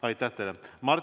Aitäh teile!